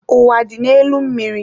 Ụwa dị n'elu mmiri.